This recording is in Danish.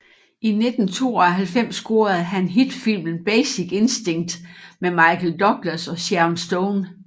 I 1992 scorede han hit filmen Basic Instinct med Michael Douglas og Sharon Stone